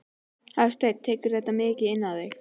Hafsteinn: Tekurðu þetta mikið inn á þig?